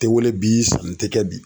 Te wele bi sanni te kɛ bi.